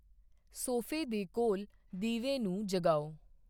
ਸੋਫੇ ਦੇ ਕੋਲ ਦੀਵੇ ਨੂੰ ਜਗਾਓ।